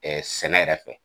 Ɛɛ sɛnɛ yɛrɛ fɛ.